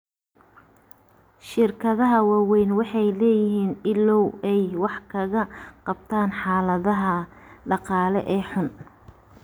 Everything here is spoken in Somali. Shirkadaha waaweyni waxay leeyihiin ilo ay wax kaga qabtaan xaaladaha dhaqaale ee xun.